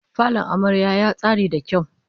Falon amaryar ya tsari da kyau